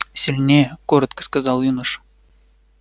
сильнее коротко сказал юноша